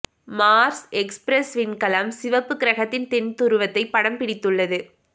Mars Express விண்கலம் சிவப்பு கிரகத்தின் தென் துருவத்தை படம் பிடித்துள்ளது